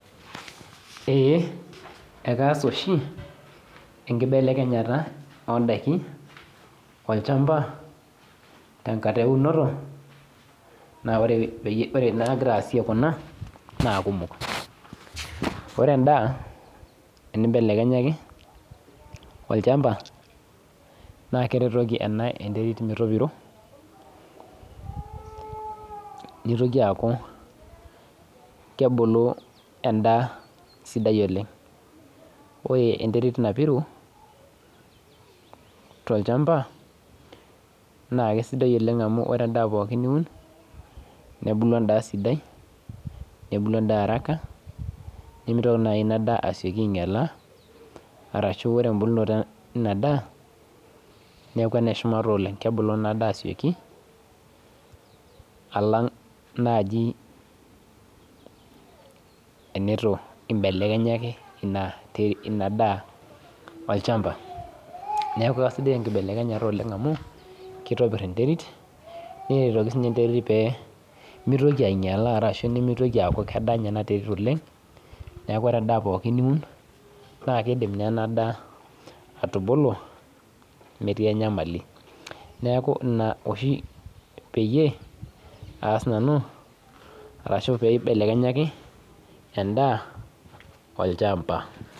Ee ekaas oshi enkibelekenyata o ndaiki tolchamba, tenkata eunoto naa ore naagira aasie Kuna naa kumok, ore endaa teneimbelekenyaki olchamba naakeretoki ena enterit metopiro, neitoki aaku kebulu endaa sidai oleng'. Ore enterit napiru tolchamba naa aisidai oleng' amu ore endaa niun naa aisidai nebulu endaa araka, nemeitoki naaji Ina daa ainyala arashu ore embulunoto ina daa neaku ene shumata oleng', neaku kebulu Ina daa alang' naaji teneitu imbelekenyaki Ina daa olchamba, neaku sidai enkibelekenyata olchamba amu keitobir enterit neretoli sininche enterit peeku meitoki ainyala ashu eaku kedanya ena terit oleng', neaku ore endaa pooki niun naa keidim naa ena daa atubulu metii enyamali sapuk, neaku Ina oshi peyie aas nanu ashu peyie aibelekenyaki endaa olchamba.